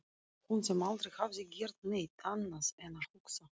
Hún sem aldrei hafði gert neitt annað en að hugsa.